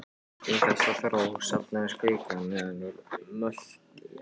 Í þessa þró safnast kvika neðan úr möttli jarðar.